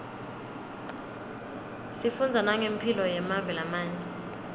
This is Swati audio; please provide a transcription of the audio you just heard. sifundza nangemphilo yemave lamanye